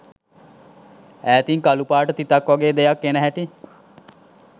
ඈතින් කළුපාට තිතක් වගේ දෙයක් එන හැටි